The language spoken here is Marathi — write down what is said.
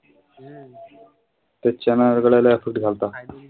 त्याच्या